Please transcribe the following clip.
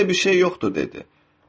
Elə də bir şey yoxdur, dedi.